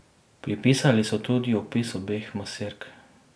Pripisali so tudi opis obeh maserk.